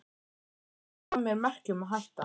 Sveinn Óli gaf mér merki um að hætta.